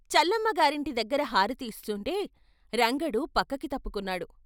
చల్లమ్మ గారింటిదగ్గర హారతి ఇస్తుంటే రంగడు పక్కకి తప్పుకున్నాడు.